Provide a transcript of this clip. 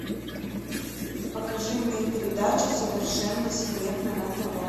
покажи мне передачу совершенно секретно на тв